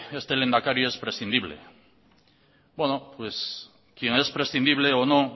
este lehendakari es prescindible bueno pues quién es prescindible o no